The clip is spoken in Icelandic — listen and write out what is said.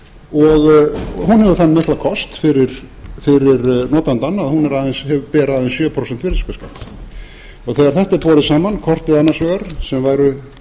og hún hefur þann mikla kost fyrir notandann að hún ber aðeins sjö prósenta virðisaukaskatt þegar þetta er borið saman kortið annars vegar sem væri ef